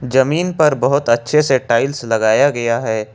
जमीन पर बहोत अच्छे से टाइल्स लगाया गया है।